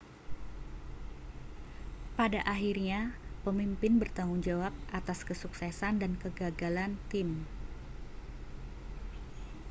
pada akhirnya pemimpin bertanggung jawab atas kesuksesan dan kegagalan tim